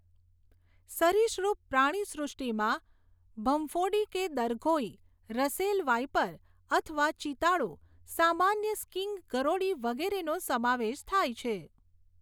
સરિસૃપ પ્રાણીસૃષ્ટિમાં ભંફોડી કે દરઘોઈ, રસેલ વાઈપર અથવા ચિતાડો, સામાન્ય સ્કિંક ગરોળી વગેરેનો સમાવેશ થાય છે.